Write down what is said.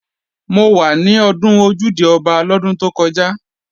Mo wà ní ọdún Ojúde-Ọba lọ́dún tó kọjá